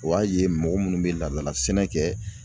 O y'a ye mɔgɔ munnu bɛ laadala sɛnɛ kɛ